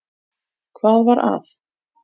Hvað var að?